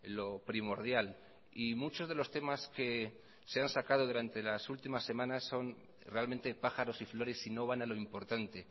lo primordial y muchos de los temas que se han sacado durante las últimas semanas son realmente pájaros y flores y no van a lo importante